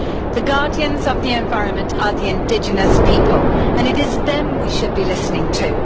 The guardians of the environment are the indigenous people and it is them we should be listening to.